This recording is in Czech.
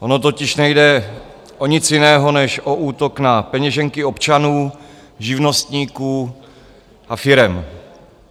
Ono totiž nejde o nic jiného než o útok na peněženky občanů, živnostníků a firem.